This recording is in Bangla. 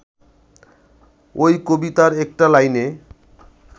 ওই কবিতার একটা লাইনে